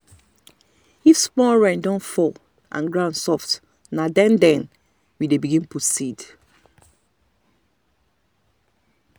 if small rain don fall and ground soft na then then we dey begin put seed.